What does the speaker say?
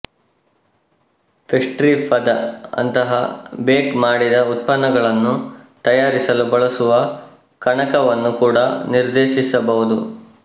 pastry ಪದ ಅಂತಹ bake ಮಾಡಿದ ಉತ್ಪನ್ನಗಳನ್ನು ತಯಾರಿಸಲು ಬಳಸುವ ಕಣಕವನ್ನು ಕೂಡ ನಿರ್ದೇಶಿಸಬಹುದು